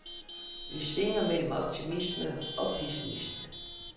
Vi svinger mellem optimisme og pessimisme.